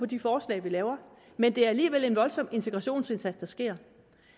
de forslag vi laver men det er alligevel en voldsom integrationsindsats der sker